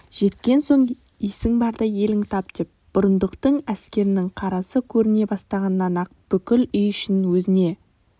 жеткен соң есің барда еліңді тапдеп бұрындықтың әскерінің қарасы көріне бастағаннан-ақ бүкіл үй ішін өзіне